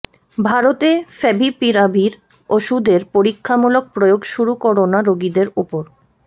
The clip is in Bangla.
ভারতে ফ্যাভিপিরাভির ওষুধের পরীক্ষামূলক প্রয়োগ শুরু করোনা রোগীদের উপর